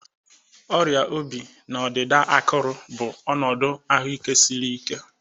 Ọrịa obi na ọdịda akụrụ bụ ọnọdụ ahụike siri ike